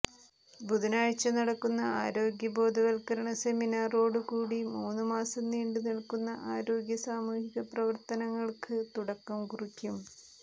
ബുധനാഴ്ച്ച നടക്കുന്ന ആരോഗ്യ ബോധവൽക്കരണ സെമിനാറോട് കൂടി മൂന്നു മാസം നീണ്ടു നിൽക്കുന്ന ആരോഗ്യ സാമൂഹിക പ്രവർത്തനങ്ങൾക്ക് തുടക്കം കുറിക്കും